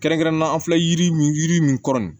Kɛrɛnkɛrɛnnenya la filɛ yiri min yiri min kɔrɔ nin